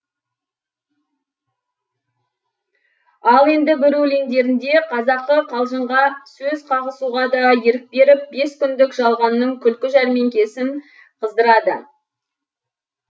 ал енді бір өлеңдерінде қазақы қалжыңға сөз қағысуға да ерік беріп бес күндік жалғанның күлкі жәрмеңкесін қыздырады